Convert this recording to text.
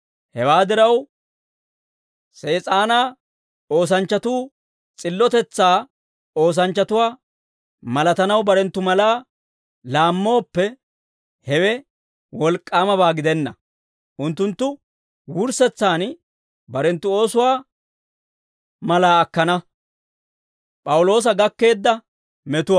Hewaa diraw, Sees'aanaa oosanchchatuu s'illotetsaa oosanchchatuwaa malatanaw barenttu malaa laammooppe, hewe wolk'k'aamabaa gidenna; unttunttu wurssetsaan barenttu oosuwaa malaa akkana.